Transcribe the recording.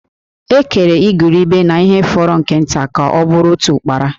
E kere igurube na ihe fọrọ nke nta ka ọ bụrụ otu Ụ́kpárá